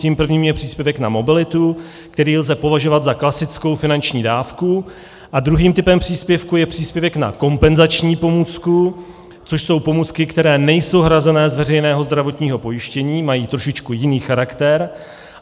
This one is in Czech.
Tím prvním je příspěvek na mobilitu, který lze považovat za klasickou finanční dávku, a druhým typem příspěvku je příspěvek na kompenzační pomůcku, což jsou pomůcky, které nejsou hrazené z veřejného zdravotního pojištění, mají trošičku jiný charakter.